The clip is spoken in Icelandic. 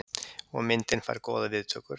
Og myndin fær góðar viðtökur.